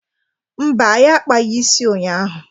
Mba, anyị akpaghị isi ụnyaahụ.